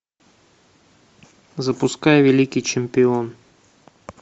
запускай великий чемпион